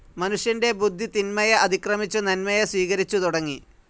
മനുഷ്യന്റെ ബുദ്ധി തിന്മയെ അതിക്രമിച്ചു നന്മയെ സ്വീകരിച്ചു തുടങ്ങി.